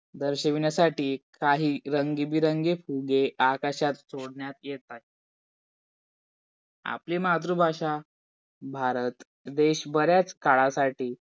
दर्शिविण्यासाठी काही रंगीबिरंगी फुगे आकाशात सोडण्यात येतात. आपली मातृभाषा भारत देश बऱ्याच काळासाठी